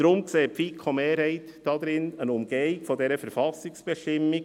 Deshalb sieht die FiKo-Mehrheit darin eine Umgehung dieser Verfassungsbestimmung;